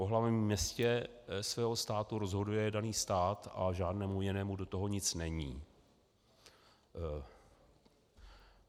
O hlavním městě svého státu rozhoduje daný stát a žádnému jinému do toho nic není.